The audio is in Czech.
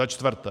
Za čtvrté.